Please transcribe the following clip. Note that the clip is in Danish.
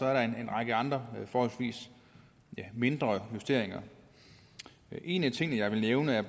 er der en række andre forholdsvis mindre justeringer en af tingene jeg vil nævne er